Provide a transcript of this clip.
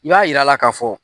U y'a yirala ka fɔ.